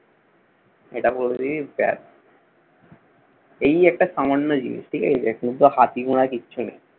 এটা বলে দিবি। ব্যাস। এই একটা সামান্য জিনিস। ঠিক আছে। এটা কিন্তু হাতি ঘোড়া কিছু নয়।